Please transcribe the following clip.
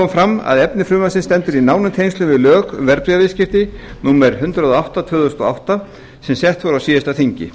fram að efni frumvarpsins stendur í nánum tengslum við lög verðbréfaviðskipti númer hundrað og átta tvö þúsund og átta sem sett voru á síðasta þingi